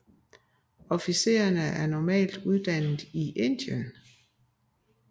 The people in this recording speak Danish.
Officererne er normalt uddannet i Indien